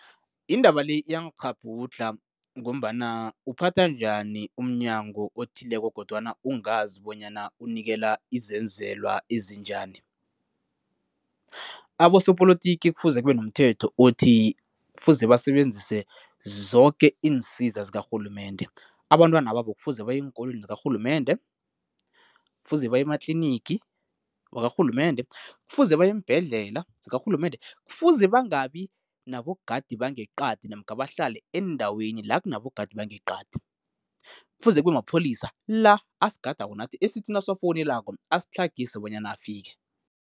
Indaba le iyangikghabhudlha ngombana uphatha njani umNyango othileko kodwana ungazi bonyana unikela izenzelwa ezinjani? Abosopolotiki kufuze kube nomthetho othi kufuze basebenzise zoke iinsiza zikarhulumende. Abantwana babo kufuze baye eenkolweni zikarhulumende, kufuze baye ematlinigi wakarhulumende, kufuze baye eembhedlela zikarhulumende, kufuze bangabi nabogadi bangeqadi namkha bahlale eendaweni la kunabogadi bangeqadi. Kufuze kube mapholisa la asigadako nathi esithi nasiwafowunelako, asitlhagise bonyana afike.